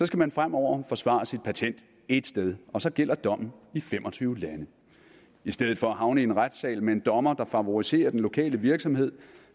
skal man fremover forsvare sit patent ét sted og så gælder dommen i fem og tyve lande i stedet for at havne i en retssal med en dommer der favoriserer den lokale virksomhed